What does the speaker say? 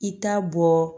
I t'a bɔ